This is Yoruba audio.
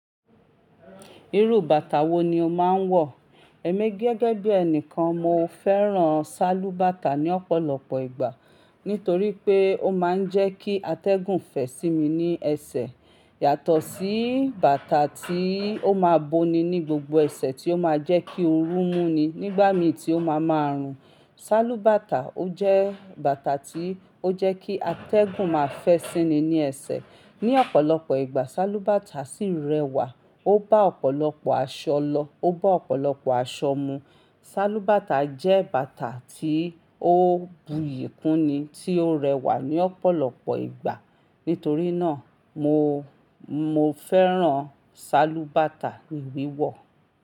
Irú bàtà wo ni o máa ń wọ̀? Ẹ̀mí gẹ́gẹ́ bí ẹnìkan, mo fẹ́ràn ṣálúbàtà ní ọ̀pọ̀lọpọ̀ ìgbà nitorí pé ó máa ń jẹ́ kí atẹ́gùn fẹ́ sí mi ní ẹsẹ̀ yàtọ̀ sí bàtà tí ó máa bo ni ní gbogbo ẹsẹ̀ tí ó máa jẹ́ kí oru mú ni nígbà mi tí ó máa ma rùn. Ṣálúbàtà o jẹ́ bàtà tí ó jẹ́ kí atẹ́gùn máa fẹ́ sími ní ẹsẹ̀. Ní ọ̀pọ̀lọpọ̀ ìgbà, ṣálúbàtà sì ń rẹwà, ó bá ọ̀pọ̀lọpọ̀ aṣọ lọ, ó bá ọ̀pọ̀lọpọ̀ aṣọ mu. Ṣálúbàtà jẹ́ bàtà tí ó buyì kúni tí ó rẹwà ní ọ̀pọ̀lọpọ̀ ìgbà. Nítorí náà mo, mo fẹ́ràn ṣálúbàtà ní wíwọ̀.